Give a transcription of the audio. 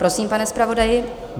Prosím, pane zpravodaji.